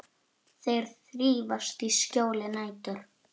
Þeir þrífast í skjóli nætur.